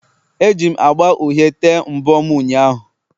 Eji m agba uhie tee mbọ m ụnyahụ